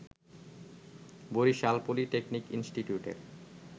Barishal polytechnic ইনস্টিটিউটের